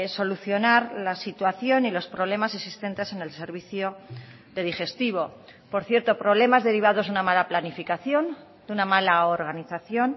solucionar la situación y los problemas existentes en el servicio de digestivo por cierto problemas derivados de una mala planificación de una mala organización